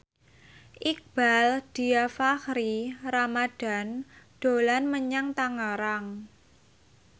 Iqbaal Dhiafakhri Ramadhan dolan menyang Tangerang